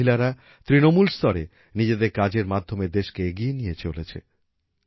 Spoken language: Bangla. এই মহিলারা তৃণমূল স্তরে নিজেদের কাজের মাধ্যমে দেশকে এগিয়ে নিয়ে চলেছে